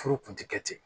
Furu kun ti kɛ ten